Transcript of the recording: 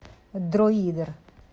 дроидер